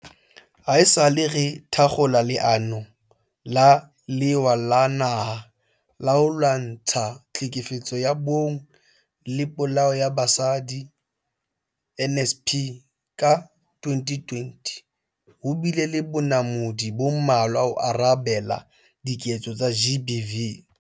Haesale re thakgola Leano la Lewa la Naha la ho Lwantsha Tlhekefetso ya Bong le Polao ya Basadi, NSP, ka 2020, ho bile le bonamodi bo mmalwa ho arabela diketso tsa GBV.